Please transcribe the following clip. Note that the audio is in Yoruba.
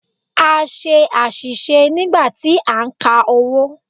A ṣe àṣìṣe nígbà tí a ń ka owó.